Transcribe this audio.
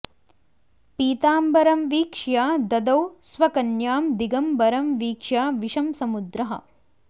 पीताम्बरं वीक्ष्य ददौ स्वकन्यां दिगम्बरं वीक्ष्य विषं समुद्रः